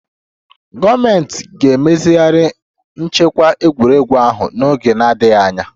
Gọọmentị ga-emezigharị nchekwa egwuregwu ahụ n'oge na-adịghị anya